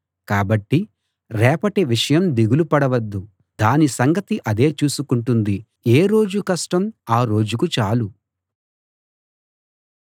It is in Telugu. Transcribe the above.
కాబట్టి రేపటి విషయం దిగులు పడవద్దు దాని సంగతి అదే చూసుకుంటుంది ఏ రోజు కష్టం ఆ రోజుకు చాలు